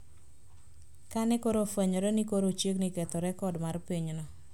Ka ne koro ofwenyore ni koro ochiegni ketho rekod mar pinyno,